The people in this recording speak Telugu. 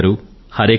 హరే కృష్ణ